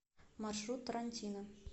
маршрут тарантино